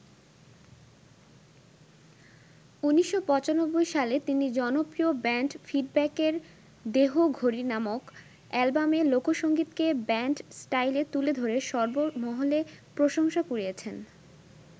১৯৯৫ সালে তিনি জনপ্রিয় ব্যান্ড ফিডব্যাকের 'দেহঘড়ি' নামক অ্যালবামে লোকসংগীতকে ব্যান্ড স্টাইলে তুলে ধরে সর্বমহলে প্রশংসা কুড়িয়েছেন।